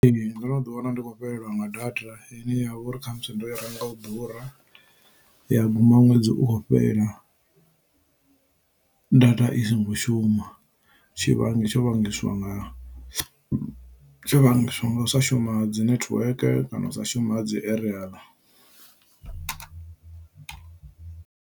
Ee ndo no ḓi wana ndi khou fhelelwa nga data ine ya vha uri khamusi ndo renga u ḓura ya guma ṅwedzi u khou fhela data i songo shuma tshivhangi tsho vhangiswa nga tsho vhangiswa nga u sa shuma ha dzi netiweke kana u sa shuma ha dzi eriyaḽa.